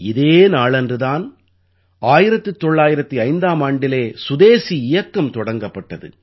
இதே நாளன்று தான் 1905ஆம் ஆண்டிலே சுதேஸி இயக்கம் தொடங்கப்பட்டது